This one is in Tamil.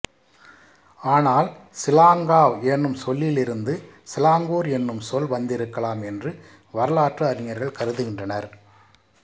ஆனால் சிலாங்காவ் எனும் சொல்லிலிருந்து சிலாங்கூர் எனும் சொல் வந்திருக்கலாம் என்று வரலாற்று அறிஞர்கள் கருதுகின்றனர்